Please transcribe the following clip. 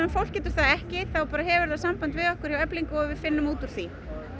fólk getur það ekki þá hefur það samband við okkur hjá Eflingu og við finnum út úr því